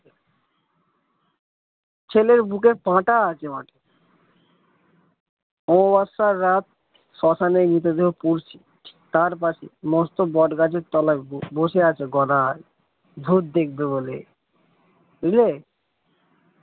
ছেলের বুকের পাটা আছে অমাবস্যার রাত শ্মশানে মৃতদেহ পুড়ছে তার পাশে মস্ত বটগাছের তলায় বসে আছে গদাই ভুত দেখবে বলে বুঝলে।